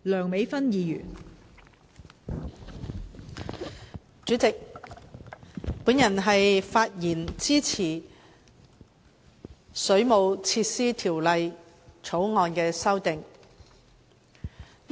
代理主席，我發言支持《2017年水務設施條例草案》。